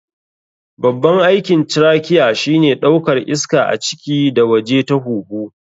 Babban aikin trachea shine ɗaukar iska a ciki da waje ta huhu.